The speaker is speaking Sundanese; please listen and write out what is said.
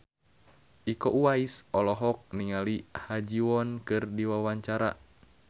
Iko Uwais olohok ningali Ha Ji Won keur diwawancara